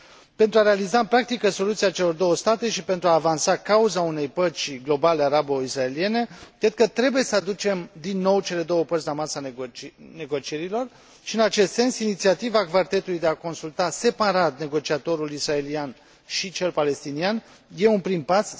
Pentru a realiza în practică soluția celor două state și pentru a avansa cauza unei păci globale arabo israeliene, cred că trebuie să aducem, din nou, cele două părți la masa negocierilor și, în acest sens, inițiativa cvartetului de a consulta separat negociatorul israelian și cel palestinian este un prim pas.